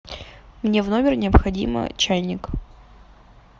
мне в номер необходимо чайник